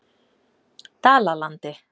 Dalalandi